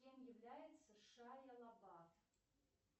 кем является шайа лабаф